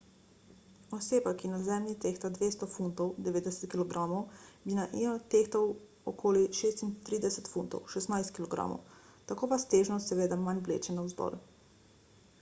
oseba ki na zemlji tehta 200 funtov 90 kg bi na io tehtal koli 36 funtov 16 kg. tako vas težnost seveda manj vleče navzdol